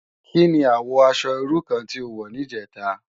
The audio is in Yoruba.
Ki ni àwò aṣò irú kàn ti ó wò nijètá?